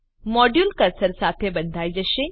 module cursor સાથે બંધાઈ જશે